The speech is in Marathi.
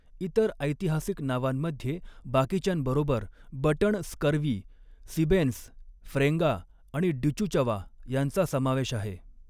इतर ऐतिहासिक नावांमध्ये, बाकीच्यांबरोबर 'बटण स्कर्वी', सिबेन्स, फ्रेंगा आणि डिचुचवा यांचा समावेश आहे.